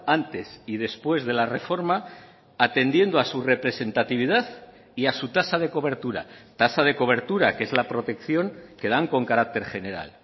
antes y después de la reforma atendiendo a su representatividad y a su tasa de cobertura tasa de cobertura que es la protección que dan con carácter general